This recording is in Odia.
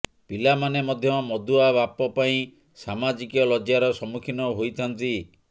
ପିଲାମାନେ ମଧ୍ୟ ମଦୁଆ ବାପ ପାଇଁ ସାମାଜିକ ଲଜ୍ଜାର ସମ୍ମୁଖୀନ ହୋଇଥାନ୍ତି